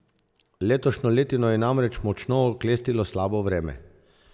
Letošnjo letino je namreč močno oklestilo slabo vreme.